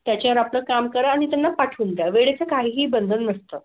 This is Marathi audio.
त्याच्यावर आपलं काम करा आणि त्यांना पाठवून द्या. वेळेचं काहीही बंधन नसतं.